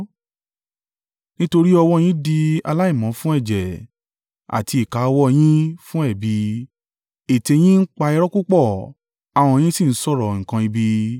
Nítorí ọwọ́ yín di aláìmọ́ fún ẹ̀jẹ̀, àti ìka ọwọ́ yín fún ẹ̀bi. Ètè yín ń pa irọ́ púpọ̀, ahọ́n yín sì ń sọ̀rọ̀ nǹkan ibi.